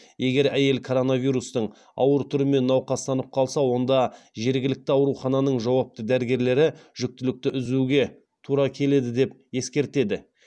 егер әйел коронавирустың ауыр түрімен науқастанып қалса онда жергілікті аурухананың жауапты дәрігерлері жүктілікті үзуге тура келеді деп ескертеді